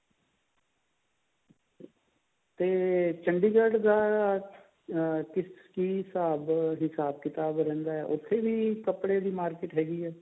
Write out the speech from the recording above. ਤੇ ਚੰਡੀਗੜ੍ਹ ਦਾ ਅਹ ਕਿਸ ਕਿ ਹਿਸਾਬ ਕਿਤਾਬ ਰਹਿੰਦਾ ਹੈ ਉੱਥੇ ਵੀ ਕੱਪੜੇ ਦੀ market ਹੈਗੀ ਹੈ